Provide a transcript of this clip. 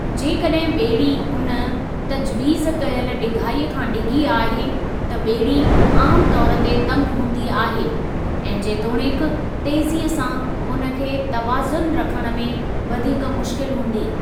जेकॾहिं ॿेड़ी उन तजवीज़ कयल डिघाई खां डिघी आहे, त ॿेड़ी आमु तौर ते तंगि हूंदी आहे, ऐं जेतोणीकि तेज़ीअ सां उन खे तवाज़नु रखणु में वधीक मुश्किल हूंदी।